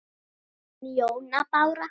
Þín, Jóna Bára.